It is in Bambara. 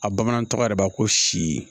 A bamanan tɔgɔ yɛrɛ b'a ko si